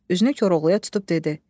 Üzünü Koroğluya tutub dedi: